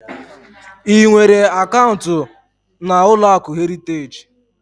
Ị nwere akaụnt na ụlọakụ Heriteji?